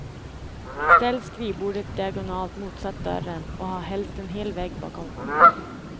Ställ skrivbordet diagonalt motsatt dörren, och ha helst en hel vägg bakom.